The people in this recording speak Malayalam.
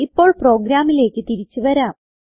ഇപ്പോൾ പ്രോഗ്രാമിലേക്ക് തിരിച്ച് വരാം